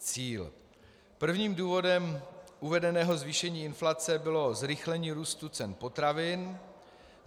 Prvním důvodem uvedeného zvýšení inflace bylo zrychlení růstu cen potravin.